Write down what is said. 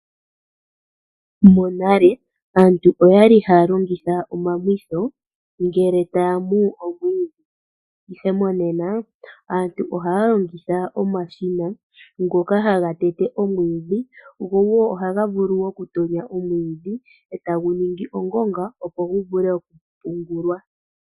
Monale aantu okwali haya longitha omamwitho, ngele taya mu omwidhi, ihe monena aantu ohay longitha omashina, ngoka haga tete omwidhi, go wo ohaga vulu oku tonya omwidhi, eta gu ningi ongonga, opo gu vule oku pungulwa.